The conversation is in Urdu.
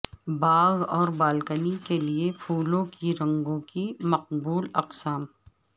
باغ اور بالکنی کے لئے پھولوں کی رنگوں کی مقبول اقسام